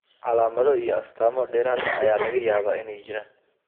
Calaamado iyo astamo dheeraad ah ayaa laga yaabaa inay jiraan.